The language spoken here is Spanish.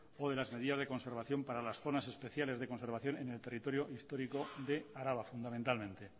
o de las medidas de conservación para las zonas especiales de conservación en el territorio histórico de araba fundamentalmente